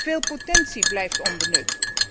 Veel potentie blijft onbenut.